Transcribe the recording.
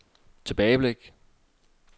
tilbageblik